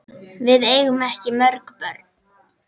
Við eigum ekki mörg börn.